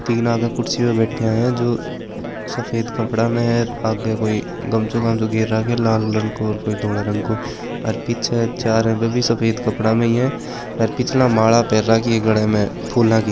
तीन आगे कुर्सी प बैठया है जो जो सफेद कपड़ा मे है और आगे कोई गमछों वमछों पर राख्यों है लाल रंग को और कोई धोला रंग को और पीछे चार भी सफेद कपड़ा म ही है और पिछला माला पर राखी है गले मे फुला की।